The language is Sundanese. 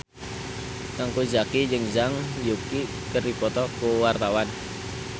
Teuku Zacky jeung Zhang Yuqi keur dipoto ku wartawan